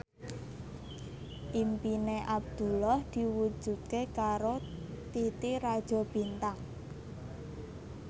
impine Abdullah diwujudke karo Titi Rajo Bintang